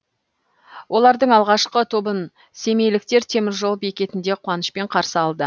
олардың алғашқы тобын семейліктер теміржол бекетінде қуанышпен қарсы алды